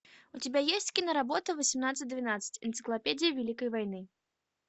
у тебя есть киноработа восемнадцать двенадцать энциклопедия великой войны